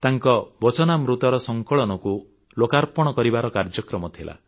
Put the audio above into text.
ତାଙ୍କ ବଚନାମୃତର ସଂକଳନକୁ ଲୋକାର୍ପଣ କରିବାର କାର୍ଯ୍ୟକ୍ରମ ଥିଲା